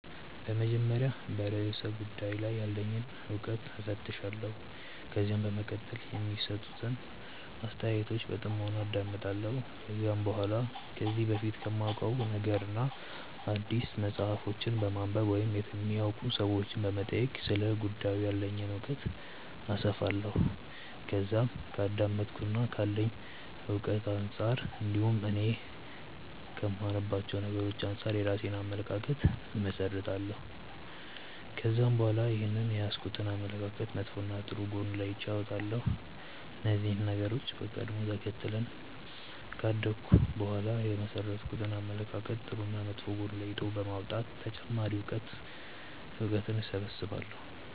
በመጀመሪያ በርእሰ ጉዳዩ ላይ ያለኝን እውቀት እፈትሻለሁ። ከዛም በመቀጠል የሚሰጡትን አስተያየቶች በጥሞና አዳምጣለሁ። ከዛም በኋላ ከዚህ በፊት ከማውቀው ነገርና አዲስ መጽሐፎችን በማንበብ ወይም የሚያውቁ ሰዎችንም በመጠየቅ ስለ ጉዳዩ ያለኝን እውቀት አሰፋለሁ። ከዛም ከአዳመጥኩትና ካለኝ እውቀት አንጻር እንዲሁም እኔ ከማምንባቸው ነገሮች አንጻር የራሴን አመለካከት እመሠረታለሁ። ከዛም በኋላ ይህንን የያዝኩትን አመለካከት መጥፎና ጥሩ ጎን ለይቼ አወጣለሁ። እነዚህን ነገሮች በቀደም ተከተል ካደረኩ በኋላ የመሠረትኩትን አመለካከት ጥሩና መጥፎ ጎን ለይቶ በማውጣት ተጨማሪ እውቀትን እሰበስባለሁ።